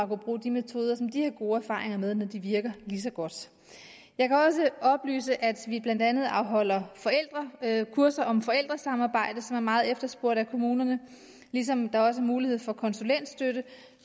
brug af de metoder som de har gode erfaringer med når de virker lige så godt jeg kan også oplyse at vi blandt andet afholder kurser om forældresamarbejde som er meget efterspurgt af kommunerne ligesom der også er mulighed for konsulentstøtte